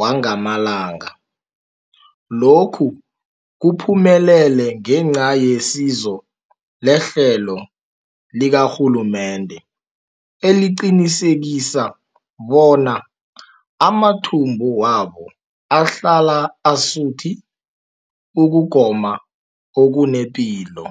wangamalanga. Lokhu kuphumelele ngenca yesizo lehlelo likarhulumende eliqinisekisa bona amathumbu wabo ahlala asuthi ukugoma okunepilo.